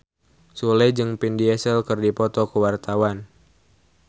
Sule jeung Vin Diesel keur dipoto ku wartawan